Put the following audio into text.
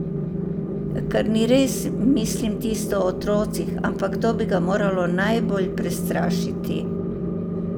Kar ni res, mislim tisto o otrocih, ampak to bi ga moralo najbolj prestrašiti.